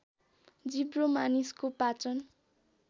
जिब्रो मानिसको पाचन